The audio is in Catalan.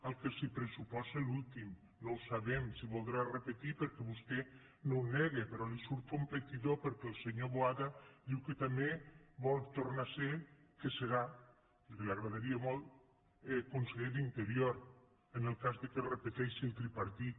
el que se pressuposa l’últim no ho sabem si voldrà repetir per·què vostè no ho nega però li surt competidor perquè el senyor boada diu que també vol tornar a ser que serà que li agradaria molt conseller d’interior en el cas que es repeteixi el tripartit